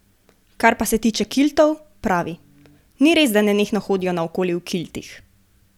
Kar pa se tiče kiltov, pravi: "Ni res, da nenehno hodijo naokoli v kiltih.